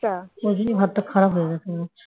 ওই জন্যই ভাতটা খারাপ হয়ে গেছে